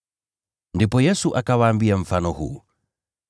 Ndipo Yesu akawaambia mfano huu: